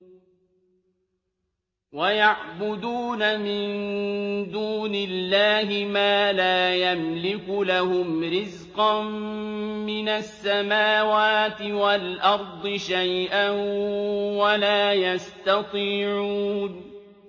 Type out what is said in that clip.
وَيَعْبُدُونَ مِن دُونِ اللَّهِ مَا لَا يَمْلِكُ لَهُمْ رِزْقًا مِّنَ السَّمَاوَاتِ وَالْأَرْضِ شَيْئًا وَلَا يَسْتَطِيعُونَ